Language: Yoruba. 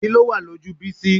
Kí ló wà lójú Bísí?